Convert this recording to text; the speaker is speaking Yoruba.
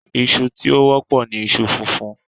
Iṣu tí ó wọ́pọ̀ ní iṣu funfun